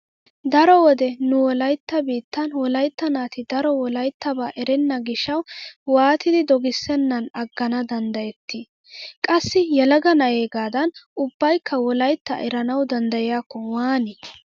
Daro wode nu wolaytta biittan wolaytta naati daro wolayttabaa erenna gishshawu waatidi dogissennan aggana danddayettii? Qassi yelaga na'eegaadan ubbaykka wolaytta eranawu denddiyaakko waani?